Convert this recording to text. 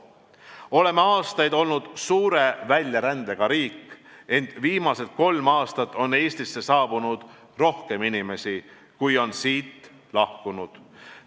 Oleme aastaid olnud suure väljarändega riik, ent viimased kolm aastat on Eestisse saabunud rohkem inimesi, kui on siit lahkunud.